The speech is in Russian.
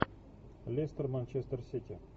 лестер манчестер сити